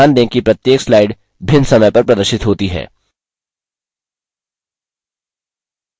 ध्यान दें कि प्रत्येक slide भिन्न समय पर प्रदर्शित होती है